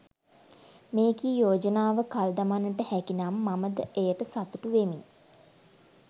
මෙකී යෝජනාව කල් දමන්නට හැකි නම් මම ද එයට සතුටු වෙමි.